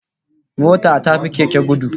Mota ta fi Keke gudu